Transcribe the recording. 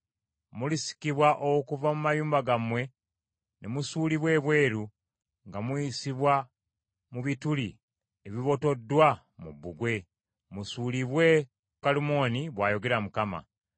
Mulisikibwa okuva mu mayumba gammwe ne musuulibwa ebweru nga muyisibwa mu bituli ebibotoddwa mu bbugwe, musuulibwe ku Kalumooni, bw’ayogera Mukama .